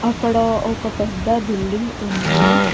అక్కడ ఒక పెద్ద బిల్డింగ్ ఉంది.